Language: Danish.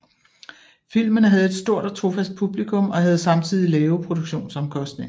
Filmene havde et stort og trofast publikum og havde samtidig lave produktionsomkostninger